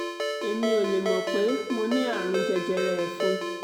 èmi ò lè mọ̀ pé mo ní àrùn jẹjẹrẹ ẹ̀fun